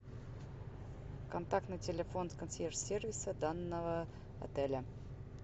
контактный телефон консьерж сервиса данного отеля